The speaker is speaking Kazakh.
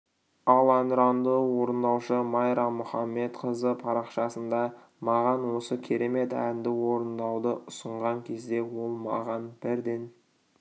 ал әнұранды орындаушы майра мұхамедқызы парақшасында маған осы керемет әнді орындауды ұсынған кезде ол маған бірден